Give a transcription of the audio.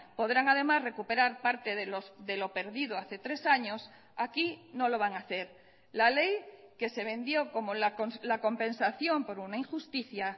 podrán además recuperar parte de lo perdido hace tres años aquí no lo van a hacer la ley que se vendió como la compensación por una injusticia